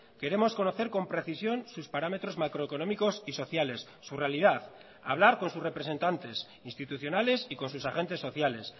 queremos conocer con precisión sus parámetros macroeconómicos y sociales su realidad hablar con sus representantes institucionales y con sus agentes sociales